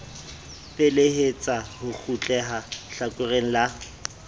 felehetsa ho kgutleha hlakoreng la